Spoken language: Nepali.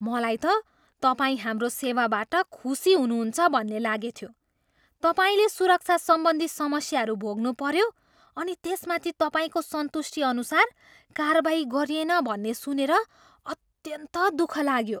मलाई त तपाईँ हाम्रो सेवाबाट खुसी हुनुहुन्छ भन्ने लागेथ्यो। तपाईँले सुरक्षा सम्बन्धी समस्याहरू भोग्नुपऱ्यो अनि त्यसमाथि तपाईँको सन्तुष्टिअनुसार कारवाही गरिएन भन्ने सुनेर अन्यन्त दुख लाग्यो।